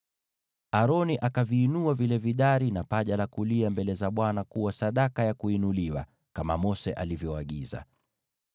Aroni akaviinua vile vidari na paja la kulia mbele za Bwana ili viwe sadaka ya kuinuliwa, kama Mose alivyoagiza.